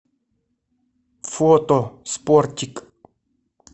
фото спортик